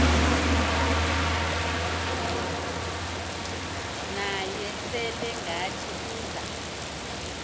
naye selengathi uza